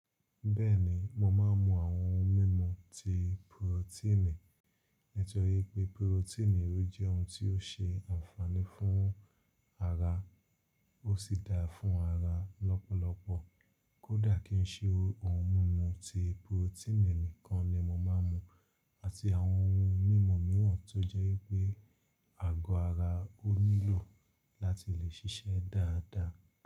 Bẹ́ẹ̀ni, mo máa ń mu àwọn ohun mímu ti porotíìnì, nítorí pé porotíìnì rí jẹ́ ohun tí ó ṣe ànfààní fún ara, ó sì da fún ara lọ́pọ̀lọpọ̀. Kódà kí n ṣe ohun mímu ti porotíìnì nìkan ni mo máa ń mu, àti àwọn ohun mímu mìíràn tó jẹ́ pé àgọ́ ara ó nílò láti lè ṣiṣẹ́ dáadáa.